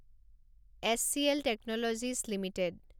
HCL technologies limited